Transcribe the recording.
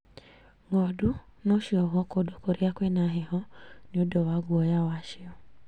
Ng'ondu no ciohwo kũndũ kũrĩa kwĩna heho nĩ ũndũ wa guoya wacio